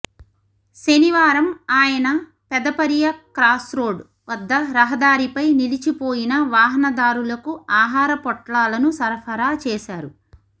శనివారం ఆయన పెదపరియ క్రాస్రోడ్ వద్ద రహదారి పై నిలిచిపోయిన వాహన దారులకు ఆహార పొట్లాలను సరఫరా చేశారు